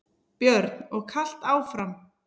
Björn: Og kalt áfram?